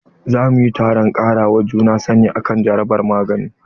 Za mu yi taron kara wa juna sani akan jarabar magani.